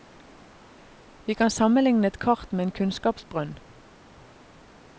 Vi kan sammenligne et kart med en kunnskapsbrønn.